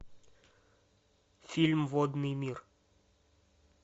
фильм водный мир